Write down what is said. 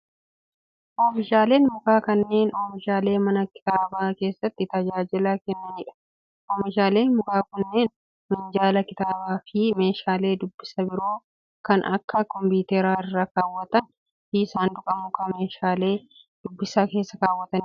Oomishaaleen mukaa kunneen, oomishaalee mana kitaabaa keessatti tajaajila kennanii dha. Oomishaaleen mukaa kunneen, minjaala kitaaba fi meeshaalee dubbisaa biroo kan akka kopiitaraa irra kaawwatan fi saanduqa mukaa meeshaalee dubbisaa keessa kaawwatanii dha.